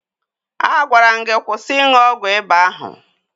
A gwara m gi kwụsị ịṅụ ọgwụ ịba ahụ